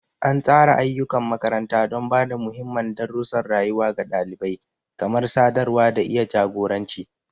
An tsara ayyukan makaranta don ba da muhimman darussan rayuwa ga ɗalibai, kamar sadarwa da iya jagoranci.